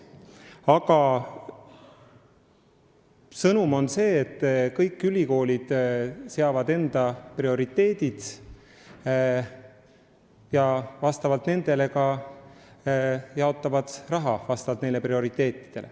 Aga sõnum on see, et kõik ülikoolid seavad endale prioriteedid ja nende alusel ka jaotavad raha.